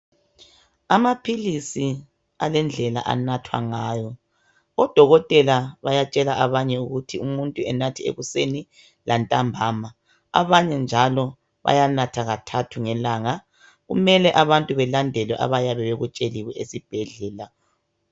Amaphilisi alendlela anathwa ngayo odokotela bayatshela umuntu ukuthi kumele anathe ekuseni lantambama abanye njalo bayanatha kathathu ngelanga kumele abantu belandele abayabe bekutsheliwe esibhedlela